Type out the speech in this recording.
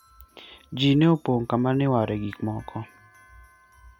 ji ne opong kama iware gikmoko